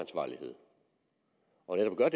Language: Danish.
gør